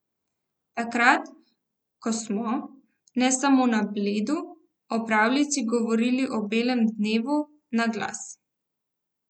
Takrat, ko smo, ne samo na Bledu, o pravljici govorili ob belem dnevu, na glas.